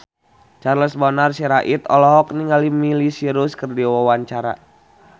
Charles Bonar Sirait olohok ningali Miley Cyrus keur diwawancara